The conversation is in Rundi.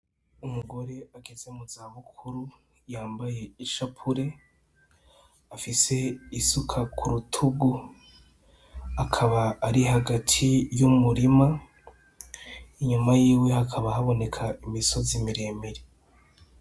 Umugore ageze mu zabukuru yambaye ishapure, afise isuka ku rutugu, akaba ari hagati y'umurima, inyuma yiwe hakaba haboneka imisozi miremire.